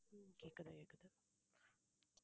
ஹம் கேக்குது கேக்குது